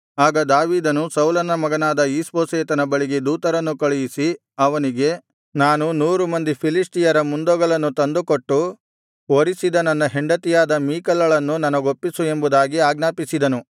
ಆಗ ದಾವೀದನು ಸೌಲನ ಮಗನಾದ ಈಷ್ಬೋಶೆತನ ಬಳಿಗೆ ದೂತರನ್ನು ಕಳುಹಿಸಿ ಅವನಿಗೆ ನಾನು ನೂರು ಮಂದಿ ಫಿಲಿಷ್ಟಿಯರ ಮುಂದೊಗಲನ್ನು ತಂದು ಕೊಟ್ಟು ವರಿಸಿದ ನನ್ನ ಹೆಂಡತಿಯಾದ ಮೀಕಲಳನ್ನು ನನಗೊಪ್ಪಿಸು ಎಂಬುದಾಗಿ ಆಜ್ಞಾಪಿಸಿದನು